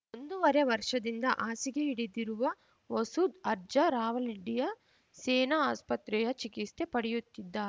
ಒಂದೂವರೆ ವರ್ಷದಿಂದ ಹಾಸಿಗೆ ಹಿಡಿದಿರುವ ಮಸೂದ್‌ ಅರ್ಜ ರಾವಲಿಂಡಿಯ ಸೇನಾ ಆಸ್ಪತ್ರೆಯ ಚಿಕಿತ್ಸೆ ಪಡೆಯುತ್ತಿದ್ದಾ